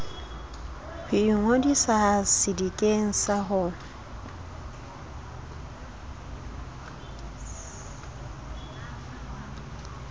ho ingodisa sedikeng sa ho